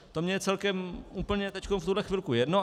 To mně je celkem úplně teď v tuhle chvilku jedno.